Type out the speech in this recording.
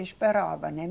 Esperava, né?